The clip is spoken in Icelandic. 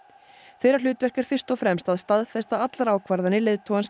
þeirra hlutverk er fyrst og fremst að staðfesta allar ákvarðanir leiðtogans